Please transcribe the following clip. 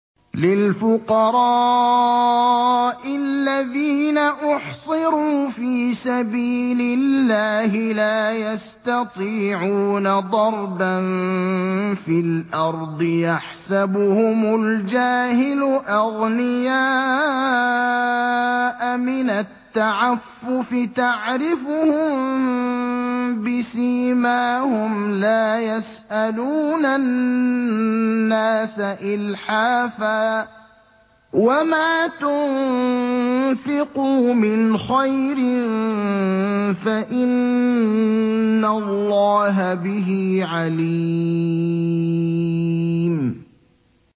لِلْفُقَرَاءِ الَّذِينَ أُحْصِرُوا فِي سَبِيلِ اللَّهِ لَا يَسْتَطِيعُونَ ضَرْبًا فِي الْأَرْضِ يَحْسَبُهُمُ الْجَاهِلُ أَغْنِيَاءَ مِنَ التَّعَفُّفِ تَعْرِفُهُم بِسِيمَاهُمْ لَا يَسْأَلُونَ النَّاسَ إِلْحَافًا ۗ وَمَا تُنفِقُوا مِنْ خَيْرٍ فَإِنَّ اللَّهَ بِهِ عَلِيمٌ